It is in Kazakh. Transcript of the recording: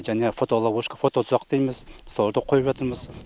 және фотоловушка фототұзақ дейміз соларды қойып жатырмыз